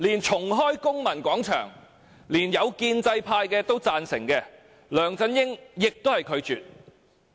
重開公民廣場，連一些建制派議員都贊成，梁振英也拒絕。